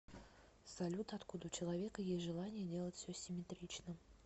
салют откуда у человека есть желание делать все симметрично